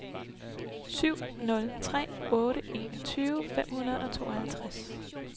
syv nul tre otte enogtyve fem hundrede og tooghalvtreds